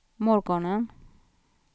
morgonen